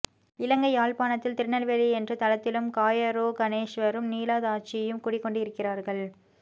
இலங்கை யாழ்ப்பாணத்தில் திருநெல்வேலி என்ற தலத்திலும் காயாரோகணேஸ்வரரும் நீலாயதாட்சியும் குடி கொண்டு இருக்கிறார்கள்